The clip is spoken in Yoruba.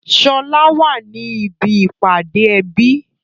Sọlá wá ní ibi ìpàdé ẹbí